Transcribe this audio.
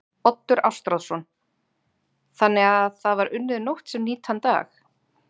Oddur Ástráðsson: Þannig að það var unnið nótt sem nýtan dag?